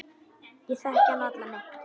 Ég þekki hann varla neitt.